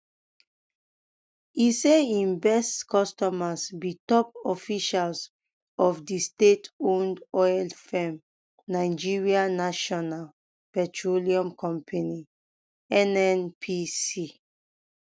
e say im best customers be top officials of di stateowned oil firm nigerian national um petroleum company nnpc